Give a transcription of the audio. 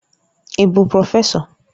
Ị bụ prọfesọ?